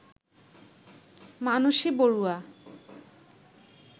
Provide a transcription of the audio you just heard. Manasi Barua